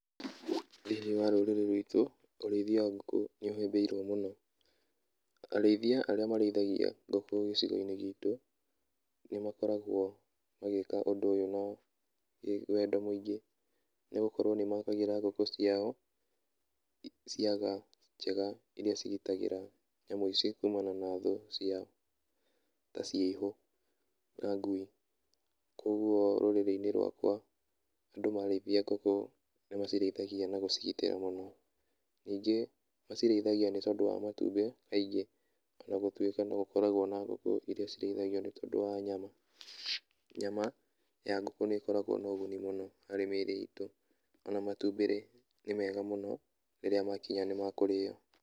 Thĩiniĩ wa rũrĩrĩ ruitũ ũrĩithia wa ngũkũ nĩũhĩmbĩirio mũno. Arĩithia arĩa marĩithagia ngũkũ gĩcigo-inĩ gitũ nĩ makoragwo magĩka ũndũ ũyũ na wendo mũingĩ nĩ gũkorwo nĩ makagĩra ngũkũ ciao ciaga njega iria cigitagĩra nyamũ ici kuumana na thũ ciao ta ciihũ na ngui. Kũoguo rũríĩrĩ-inĩ rũakwa andũ marĩithia ngũkũ nĩmacirĩithagia na gũcigitĩra mũno. Ningĩ macirĩithagia nĩ tondũ wa matumbĩ kaingĩ ona gũtuĩka no gũkoragwo na ngũkũ iria cirĩithagio nĩ tondũ wa nyama. Nyama ya ngũkũ nĩ ĩkoragwo na ũguni mũno harĩ mĩrĩ itũ, ona matumbĩ-rĩ nĩ mega mũno rĩrĩa makinya nĩ makũrĩo.